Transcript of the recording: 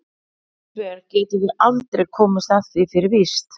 Hins vegar getum við aldrei komist að því fyrir víst.